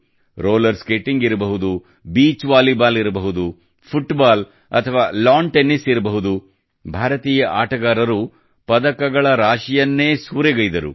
roller skating ಇರಬಹುದು beach volleyball ಇರಬಹುದು football ಅಥವಾ ಲಾನ್ ಟೆನ್ನಿಸ್ ಇರಬಹುದು ಭಾರತೀಯ ಆಟಗಾರರು ಪದಕಗಳ ರಾಶಿಯನ್ನೇ ಸೂರೆಗೈದರು